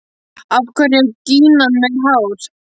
Af hverju er gínan með hár?